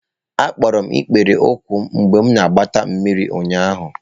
Akpọrọ m ikpere ụkwụ m mgbe m na-agbata mmiri ụnyahụ.